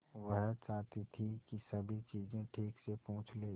वह चाहती थी कि सभी चीजें ठीक से पूछ ले